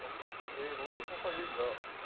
Vamos lá também, vamos tentar fazer igual.